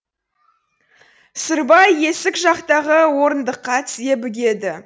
сырбай есік жақтағы орындыққа тізе бүгеді